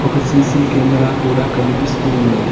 ఒక CC camera కూడా కనిపిస్తూ ఉన్నది.